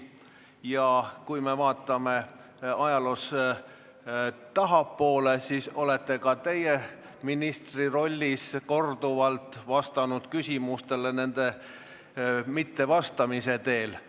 Ja kui me vaatame ajaloos tahapoole, siis näeme, et ka teie olete ministrirollis korduvalt vastanud küsimustele nende mittevastamise teel.